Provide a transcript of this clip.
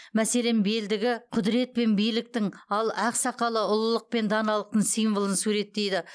мәселен белдігі құдірет пен биліктің ал ақ сақалы ұлылық пен даналықтың символын суреттейді